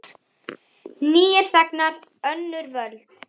Nýir þegnar, önnur völd.